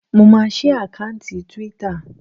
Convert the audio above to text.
Mo maa sí àkáùntì túwítà